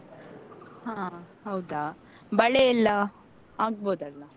ಹಾ ಹೌದಾ ಬಳೆಯೆಲ್ಲಾ ಆಗ್ಬೋದಲ್ಲ?